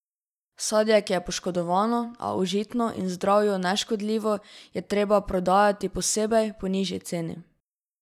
Sadje, ki je poškodovano, a užitno in zdravju neškodljivo, je treba prodajati posebej, po nižji ceni.